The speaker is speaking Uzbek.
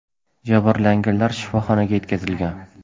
Jabrlanganlar shifoxonaga yetkazilgan.